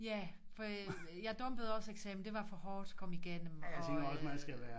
Ja for jeg dumpede også eksamen det var for hårdt at komme igennem og